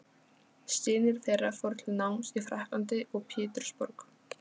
Synir þeirra fóru til náms í Frakklandi og Pétursborg.